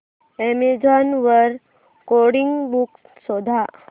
Amazon वर coding books शोधा